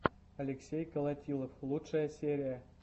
алексей колотилов лучшая серия